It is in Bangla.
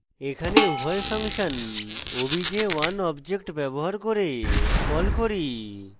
এখানে উভয় ফাংশন obj1 object ব্যবহার করে call করি